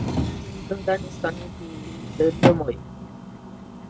он уже никогда не станет ей домой